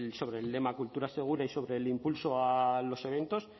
sobre el lema cultura segura y sobre el impulso a los eventos